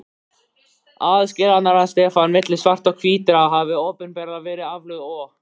Aðskilnaðarstefnan milli svartra og hvítra hafði opinberlega verið aflögð og